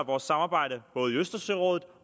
vores samarbejde både i østersørådet